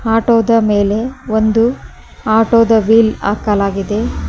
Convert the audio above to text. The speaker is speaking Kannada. ಆಟೋದ ಮೇಲೆ ಒಂದು ಆಟೋದ ವಿಲ್ ಹಾಕಲಾಗಿದೆ.